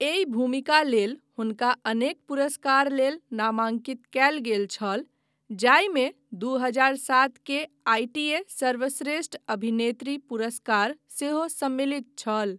एहि भूमिका लेल हुनका अनेक पुरस्कार लेल नामाँकित कयल गेल छल, जाहिमे दू हजार सात के आईटीए सर्वश्रेष्ठ अभिनेत्री पुरस्कार सेहो सम्मिलित छल।